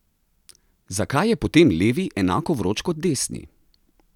Zakaj je potem levi enako vroč kot desni?